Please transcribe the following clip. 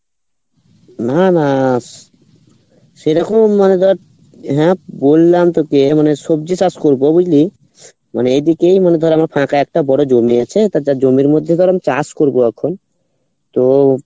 না না সেরকম নয় but হ্যাঁ বললাম তোকে মানে সবজি চাষ করবো বুঝলি মানে এদিকে মানে ধর বড়ো জমি আছে তা তো জমির মধ্যে ধর আমি চাষ করবো এখন তো